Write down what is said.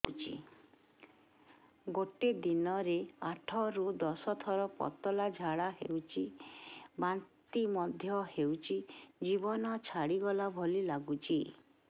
ଗୋଟେ ଦିନରେ ଆଠ ରୁ ଦଶ ଥର ପତଳା ଝାଡା ହେଉଛି ବାନ୍ତି ମଧ୍ୟ ହେଉଛି ଜୀବନ ଛାଡିଗଲା ଭଳି ଲଗୁଛି